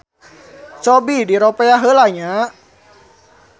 Cobi diropea heula nya.